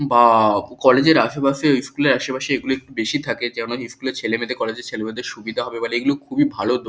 বা-আ-ব college এর আশেপাশে ও স্কুল এর আশেপাশে এগুলো একটু বেশি থাকে যেননা স্কুল ছেলেমেয়েদের কলেজ এর ছেলেমেয়েদের সুবিধে হবে বলে এগুলো খুবই ভালো দো--